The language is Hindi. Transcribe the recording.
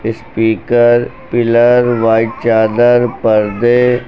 स्पीकर पिलर व्हाइट चादर पर्दे--